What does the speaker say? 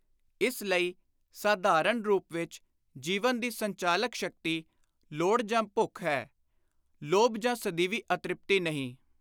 ਇਸ ਲਈ ਸਾਧਾਰਣ ਰੂਪ ਵਿਚ ਜੀਵਨ ਦੀ ਸੰਚਾਲਕ ਸ਼ਕਤੀ ਲੋੜ ਜਾਂ ਭੁੱਖ ਹੈ, ਲੋਭ ਜਾਂ ਸਦੀਵੀ ਅਤ੍ਰਿਪਤੀ ਨਹੀਂ।